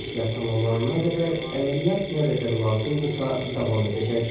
Missiya tamamlanana qədər əməliyyat nə qədər lazımdırsa davam edəcək.